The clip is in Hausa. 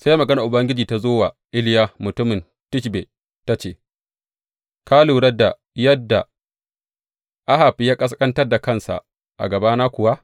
Sai maganar Ubangiji ta zo wa Iliya mutumin Tishbe, ta ce, Ka lura da yadda Ahab ya ƙasƙantar da kansa a gabana kuwa?